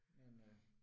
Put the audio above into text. Men øh